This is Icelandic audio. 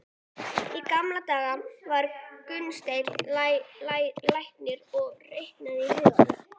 Í gamla daga, sagði Gunnsteinn læknir og reiknaði í huganum.